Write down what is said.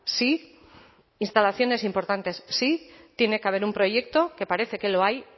sí instalaciones importantes sí tiene que haber un proyecto que parece que lo hay